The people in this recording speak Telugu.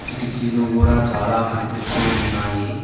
కిటికీలు కూడా చాలా కనిపిస్తూ ఉన్నాయి.